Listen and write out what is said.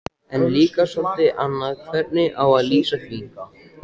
En líka soldið annað hvernig á að lýsa því